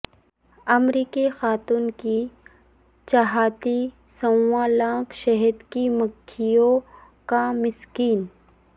امریکی خاتون کی چھاتی سوا لاکھ شہد کی مکھیوں کا مسکن